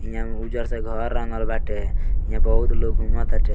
यहां उज्जर से घर रंगल बाटे इहां बहुत लोग घुमत ताटे।